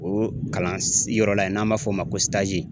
O kalan s yɔrɔ la ye n'an b'a f'ɔ ma ko